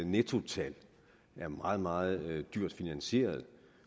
nettotal er meget meget dyrt finansieret